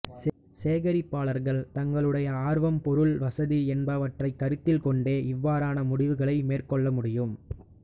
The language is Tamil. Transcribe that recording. சேகரிப்பாளர்கள் தங்களுடைய ஆர்வம் பொருள் வசதி என்பவற்றைக் கருத்தில் கொண்டே இவ்வாறான முடிவுகளை மேற்கொள்ள முடியும்